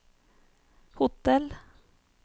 hotell